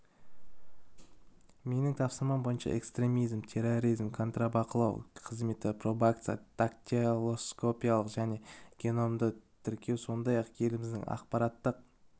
менің тапсырмам бойынша экстремизм терроризм контрбақылау қызметі пробация дактилоскопиялық және геномды тіркеу сондай-ақ еліміздің ақпараттық